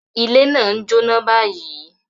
Ile naa n jóná báyìí.